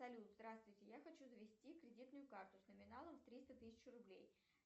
салют здравствуйте я хочу завести кредитную карту с номиналом триста тысяч рублей